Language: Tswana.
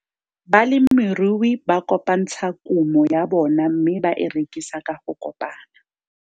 Balemirui ba kopantsha kumo ya bona mme ba e rekisa ka go kopana.